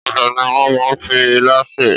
Ọbẹ̀ ni wọ́n máa ń fi ilá sè.